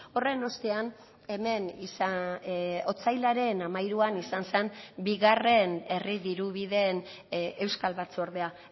horren ostean hemen otsailaren hamairuan izan zen bigarren herri diru bideen euskal batzordea